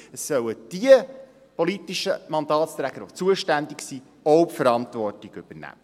Es sollen diejenigen politischen Mandatsträger, die zuständig sind, auch die Verantwortung übernehmen.